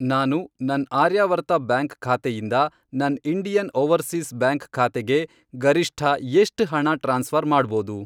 ನಾನು ನನ್ ಆರ್ಯಾವರ್ತ ಬ್ಯಾಂಕ್ ಖಾತೆಯಿಂದ ನನ್ ಇಂಡಿಯನ್ ಓವರ್ಸೀಸ್ ಬ್ಯಾಂಕ್ ಖಾತೆಗೆ ಗರಿಷ್ಠ ಎಷ್ಟ್ ಹಣ ಟ್ರಾನ್ಸ್ಫ಼ರ್ ಮಾಡ್ಬೋದು?